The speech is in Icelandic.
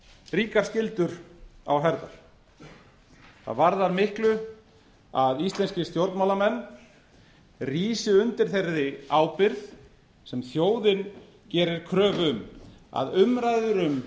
ríkar skyldur á herðar það varðar miklu að íslenskir stjórnmálamenn rísi undir þeirri ábyrgð sem þjóðin gerir kröfu um að umræður um